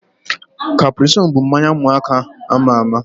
Caprisonne bụ mmanya ụmụaka ama ama